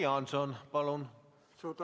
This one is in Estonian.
Jüri Jaanson, palun!